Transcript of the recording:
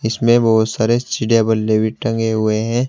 इसमें बहोत सारे चिड़िया बल्ले टंगे हुए हैं।